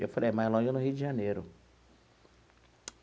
Eu falei, mais longe é no Rio de Janeiro.